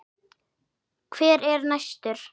Hver er næstur?